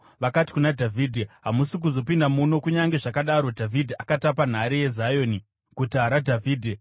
vakati kuna Dhavhidhi, “Hamusi kuzopinda muno.” Kunyange zvakadaro Dhavhidhi akatapa nhare yeZioni, Guta raDhavhidhi.